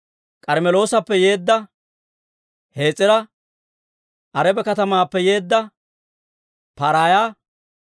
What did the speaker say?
K'armmeloosappe yeedda Hes'ira, Araba katamaappe yeedda Pa'araaya,